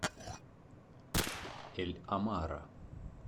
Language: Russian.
эль амара